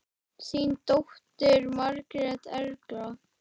Þín dóttir, Margrét Erla.